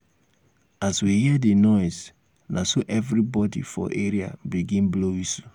as we hear di noise na so everybodi for area begin blow wistle.